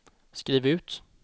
skriv ut